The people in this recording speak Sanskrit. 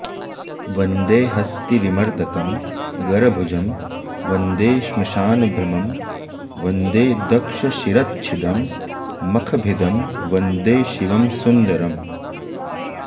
वन्दे हस्तिविमर्दकं गरभुजं वन्दे श्मशानभ्रमं वन्दे दक्षशिरश्छिदं मखभिदं वन्दे शिवं सुन्दरम्